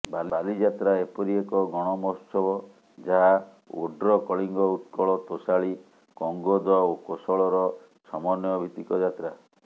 ବାଲିଯାତ୍ରା ଏପରି ଏକ ଗଣମହୋତ୍ସବ ଯାହା ଓଡ୍ର କଳିଙ୍ଗ ଉତ୍କଳ ତୋଷାଳୀ କଙ୍ଗୋଦ ଓ କୋଶଳର ସମନ୍ୱୟଭିତ୍ତିକ ଯାତ୍ରା